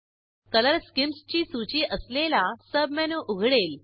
colour schemes ची सूची असलेला सबमेनू उघडेल